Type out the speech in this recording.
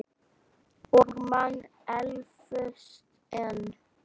Og man eflaust enn.